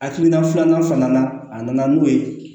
Akilina filanan fana na a nana n'o ye